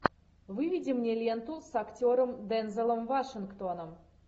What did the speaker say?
выведи мне ленту с актером дензелом вашингтоном